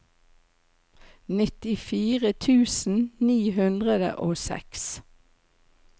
nittifire tusen ni hundre og seks